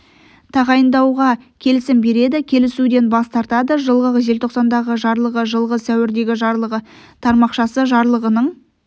тағайындауға келісім береді келісуден бас тартады жылғы желтоқсандағы жарлығы жылғы сәуірдегі жарлығы тармақшасы жарлығының